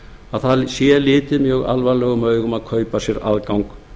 að það sé litið mjög alvarlegum augum að kaupa sér aðgang